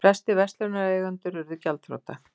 Flestir verslunareigendur urðu gjaldþrota.